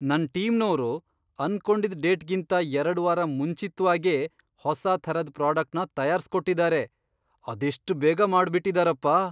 ನನ್ ಟೀಮ್ನೋರು ಅನ್ಕೊಂಡಿದ್ ಡೇಟ್ಗಿಂತ ಎರಡ್ ವಾರ ಮುಂಚಿತ್ವಾಗೇ ಹೊಸಾ ಥರದ್ ಪ್ರಾಡಕ್ಟ್ನ ತಯಾರ್ಸ್ಕೊಟ್ಟಿದಾರೆ! ಅದೆಷ್ಟ್ ಬೇಗ ಮಾಡ್ಬಿಟಿದಾರಪ್ಪ!